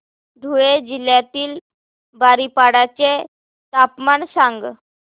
धुळे जिल्ह्यातील बारीपाडा चे तापमान सांग